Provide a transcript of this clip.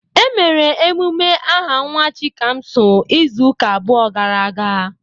Emere emume aha nwa Chikamso izuụka abụọ gara aga.